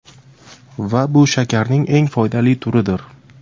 Va bu shakarning eng foydali turidir.